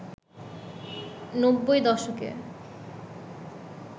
নব্বই দশকে